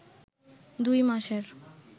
দুই মাসের